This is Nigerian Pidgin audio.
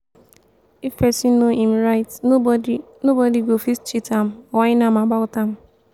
if pesin know em right nobody nobody go fit cheat dem whine am about am.